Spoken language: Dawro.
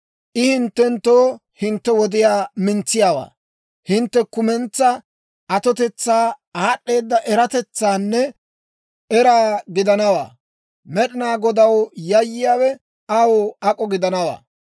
I hinttenttoo hintte wodiyaa mintsiyaawaa, hintte kumentsaa atotetsaa, aad'd'eeda eratetsaanne eraa gidanawaa; Med'inaa Godaw yayyiyaawe aw ak'o gidanawaa.